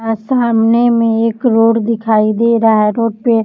औ सामने एक रोड दिखाई दे रहा है रोड पे --